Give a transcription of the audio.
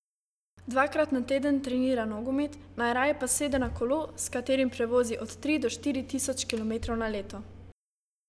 Dvakrat na teden trenira nogomet, najraje pa sede na kolo, s katerim prevozi od tri do štiri tisoč kilometrov na leto.